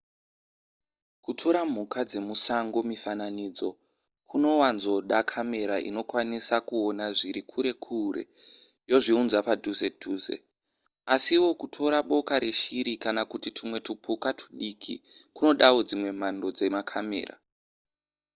kutora mhuka dzemusango mifananidzo kunowanzoda kamera inokwanisa kuona zviri kure kure yozviudza padhuze dhuze asiwo kutora boka reshiri kana kuti tumwe tupuka tudiki kunodawo dzimwe mhando dzemakamera